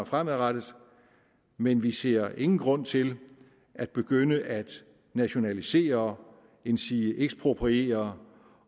fremadrettet men vi ser ingen grund til at begynde at nationalisere endsige ekspropriere